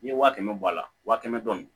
N'i ye waa kɛmɛ bɔ a la wa kɛmɛ don